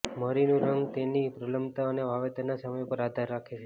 મરીનું રંગ તેની પ્રલંબતા અને વાવેતરના સમય પર આધાર રાખે છે